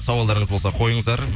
сауалдарыңыз болса қойыңыздар